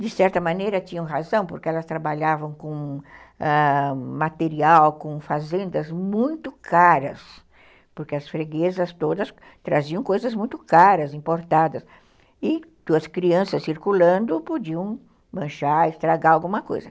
de certa maneira tinham razão, porque elas trabalhavam com ãh material, com fazendas muito caras, porque as freguesas todas traziam coisas muito caras, importadas, e as crianças circulando podiam manchar, estragar alguma coisa.